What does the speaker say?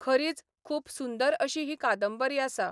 खरीच खूब सुंदर अशी ही कादंबरी आसा.